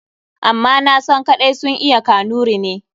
Amma nasan kaɗai sun iya Kanuri ne.